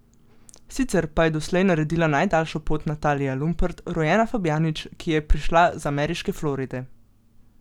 Sicer pa je doslej naredila najdaljšo pot Natalija Lumpert, rojena Fabjanič, ki je prišla z ameriške Floride.